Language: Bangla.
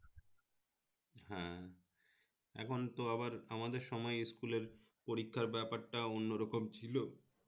হ্যাঁ এখন তো আবার আমাদের সময় school এর পরীক্ষার ব্যাপারটা অন্যরকম ছিল